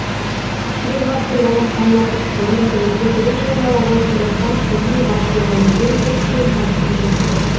ширек ғасырдан астам уақыт бұрын тәуелсіздігін жариялаған қазақстан сіздің басшылығыңызбен көптеген табысқа жетті